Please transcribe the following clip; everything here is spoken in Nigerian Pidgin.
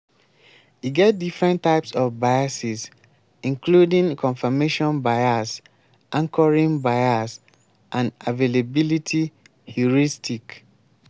e get different types of biases including confirmation bias anchoring bias and availability heuristic.